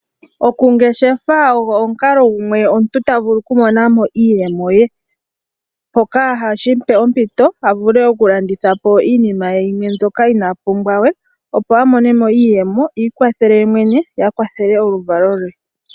Oku ngeshefa ogo omukalo gumwe omuntu ta vulu okumona mo iiyemo ye. Shoka hashi mpe ompito avule okulandithapo iinima ye yimwe mbyoka inaapumbwa we opo amonemo iiyemo iikwathele yemwene ye akwathele oluvalo lwe.